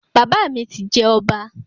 Bàbá mi ti jẹ ọba